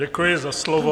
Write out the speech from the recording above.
Děkuji za slovo.